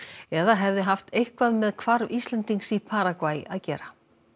eða hefði haft eitthvað með hvarf Íslendings í Paragvæ að gera